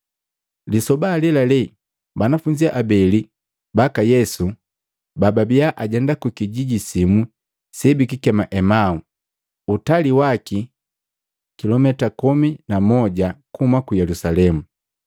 Lisoba alelale, banafunzi abeli baka Yesu babia ajenda kukijiji simu se bikikema Emau, utali waki kilumita komomi na moja kuhuma ku Yelusalemu,